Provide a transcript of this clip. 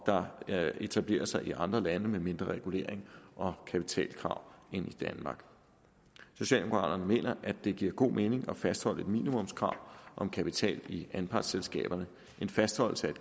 der etablerer sig i andre lande med mindre regulering og kapitalkrav end i danmark socialdemokraterne mener at det giver giver god mening at fastholde et minimumskrav om kapital i anpartsselskaberne en fastholdelse af